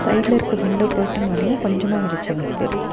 சைடுல இருக்க window curtain வழியா கொஞ்சமா வெளிச்சம் வருது.